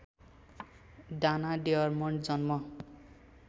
Dana Dermond जन्म